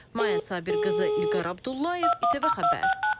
Mayə Rəşidqızı, İlqar Abdullayev, İTV Xəbər.